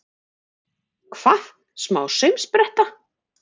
Hvað, smá saumspretta!